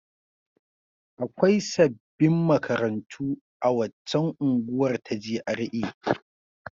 Akwai sabbin makarantu a waccan unguwar ta GRA.